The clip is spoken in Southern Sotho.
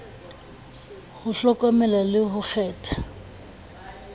ho hlokomela le ho kgetha